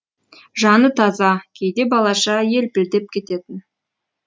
жаны таза кейде балаша елпілдеп кететін